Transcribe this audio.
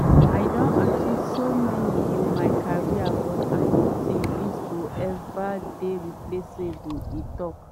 “i don achieve so much in my career but i no tink dis go eva dey replaceable” e tok.